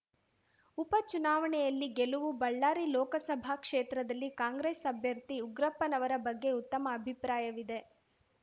ಉಪ ಚುನಾವಣೆಯಲ್ಲಿ ಗೆಲುವು ಬಳ್ಳಾರಿ ಲೋಕಸಭಾ ಕ್ಷೇತ್ರದಲ್ಲಿ ಕಾಂಗ್ರೆಸ್‌ ಅಭ್ಯರ್ಥಿ ಉಗ್ರಪ್ಪನವರ ಬಗ್ಗೆ ಉತ್ತಮ ಅಭಿಪ್ರಾಯವಿದೆ